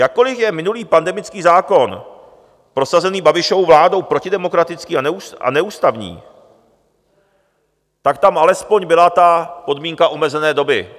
Jakkoli je minulý pandemický zákon prosazený Babišovou vládou protidemokratický a neústavní, tak tam alespoň byla ta podmínka omezené doby.